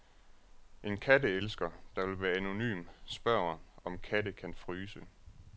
En katteelsker, der vil være anonym, spørger, om katte kan fryse.